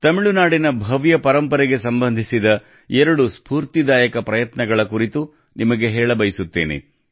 ತಮಿಳುನಾಡಿನ ಭವ್ಯ ಪರಂಪರೆಗೆ ಸಂಬಂಧಿಸಿದ ಎರಡು ಸ್ಪೂರ್ತಿದಾಯಕ ಪ್ರಯತ್ನಗಳ ಕುರಿತು ನಿಮಗೆ ಹೇಳಬಯಸುತ್ತೇನೆ